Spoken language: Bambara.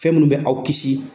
Fɛn munnu bɛ aw kisi